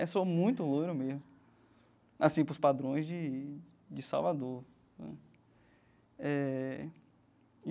É, sou muito louro mesmo, assim, para os padrões de de Salvador né eh.